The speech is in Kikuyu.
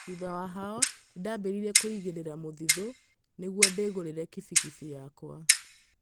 Thutha wa hao nĩ ndambirie kũĩgĩra mũthithũ nĩgũo ndĩgũrĩre kibikibi yakwa.